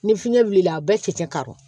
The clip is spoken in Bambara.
Ni fiɲɛ wulila a bɛɛ cɛ tɛ karɔ